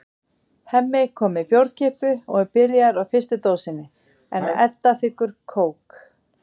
Hemmi kom með bjórkippu og er byrjaður á fyrstu dósinni en Edda þiggur kók.